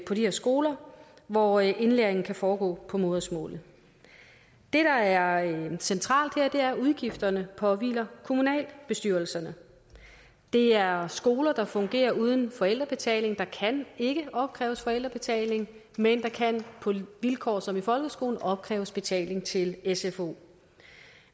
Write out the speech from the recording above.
på de her skoler hvor indlæringen kan foregå på modersmålet det der er centralt her er at udgifterne påhviler kommunalbestyrelserne det er skoler der fungerer uden forældrebetaling der kan ikke opkræves forældrebetaling men der kan på vilkår som i folkeskolen opkræves betaling til sfo